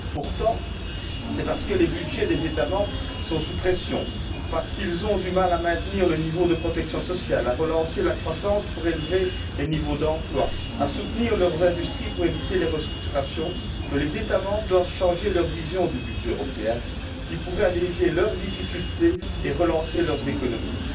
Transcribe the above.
Pourtant, c'est parce que les budgets des États membres sont sous pression, parce qu'ils ont du mal à maintenir le niveau de protection sociale, à relancer la croissance pour élever les niveaux d'emploi, à soutenir leurs industries pour éviter les restructurations que les États membres doivent changer leur vision du budget européen, qui pourrait alléger leurs difficultés et relancer leurs économies.